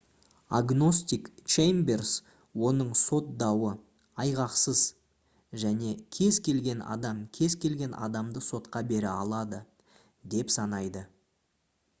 агностик чеймберс оның сот дауы «айғақсыз» және «кез келген адам кез келген адамды сотқа бере алады» деп санайды